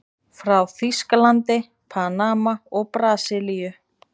Frá Þýskalandi, Panama og Brasilíu.